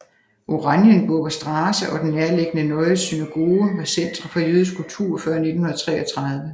Oranienburger Straße og den nærliggende Neue Synagoge var centre for jødisk kultur før 1933